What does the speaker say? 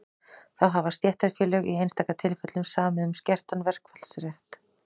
þá hafa stéttarfélög í einstaka tilfellum samið um skertan verkfallsrétt